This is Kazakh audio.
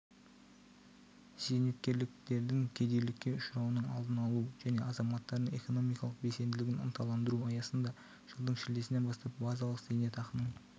зейнеткерлердің кедейлікке ұшырауының алдын алу және азаматтардың экономикалық белсенділігін ынталандыру аясында жылдың шілдесінен бастап базалық зейнетақының